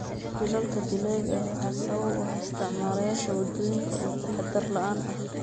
Shilalka dilaaga ah waxaa sabab u ah isticmaalayaasha waddooyinka oo taxadar la'aan ah.